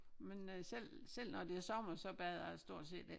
Men øh selv selv når det er sommer så bader jeg stort set ikke